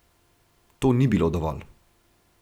To ni bilo dovolj.